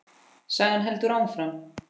Sagan heldur áfram.